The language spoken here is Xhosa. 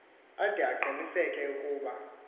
ade aqiniseke ukuba